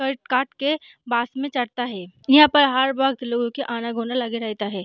Cut काट के बास में चढ़ता है यहाँ पर हर वक़्त लोगो का आना गोना लगे रहता है।